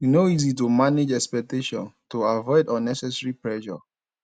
e no easy to manage expectations to avoid unnecessary pressure